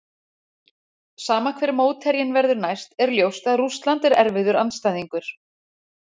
Sama hver mótherjinn verður næst er ljóst að Rússland er erfiður andstæðingur.